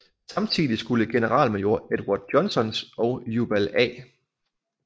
Samtidig skulle generalmajor Edward Johnsons og Jubal A